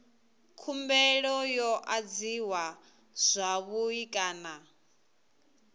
khumbelo yo adziwa zwavhui kana